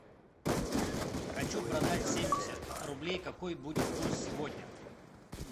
хочу продать семьдесят рублей какой будет курс сегодня